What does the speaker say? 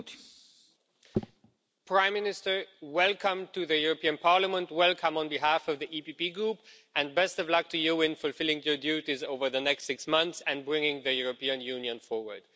Mr President, Prime Minister, welcome to the European Parliament, welcome on behalf of the EPP Group and best of luck to you in fulfilling your duties over the next six months and bringing the European Union forward.